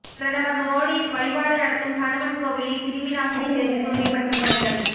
பிரதமர் மோடி வழிபாடு நடத்தும் ஹனுமன் கோவிலில் கிருமிநாசினி தெளித்து தூய்மைப்படுத்தும் பணிகள்